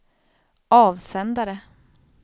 avsändare